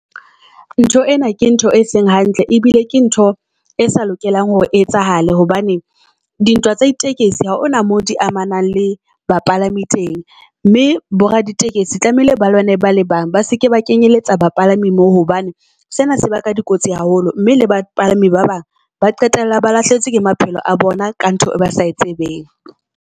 Ntho ena ke ntho e seng hantle ebile ke ntho e sa lokelang hore etsahale, hobane di ntwa tsa ditekesi ha ona mo di amanang le bapalami teng. Mme bo Raditekesi tlamehile ba lwane bale bang ba seke ba kenyeletsa bapalami moo hobane sena se ba ka di kotsi haholo. Mme le bapalami ba bang ba qetella ba lahlehetswe ke maphelo a bona ka ntho e ba sa tsebeng.